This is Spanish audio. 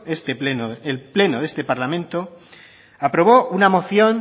este pleno el pleno de este parlamento aprobó una moción